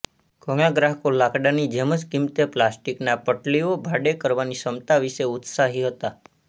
ઘણા ગ્રાહકો લાકડાની જેમ જ કિંમતે પ્લાસ્ટિકના પટલીઓ ભાડે કરવાની ક્ષમતા વિશે ઉત્સાહી હતા